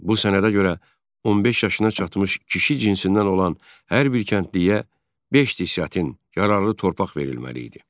Bu sənədə görə 15 yaşına çatmış kişi cinsindən olan hər bir kəndliyə beş desyatin yararlı torpaq verilməli idi.